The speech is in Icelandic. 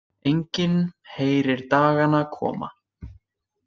Enginn heyrir dagana koma.